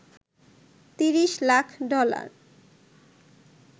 ৩০ lakh dollar